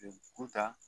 Kun ta